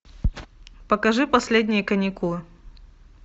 покажи последние каникулы